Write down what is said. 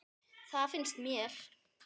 Það finnst mér.